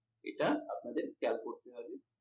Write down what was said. এটা আপনাদের খেয়াল করতে হবে।